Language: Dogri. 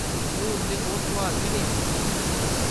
हून ते ओह् सुआल बी नेईं पुछदे।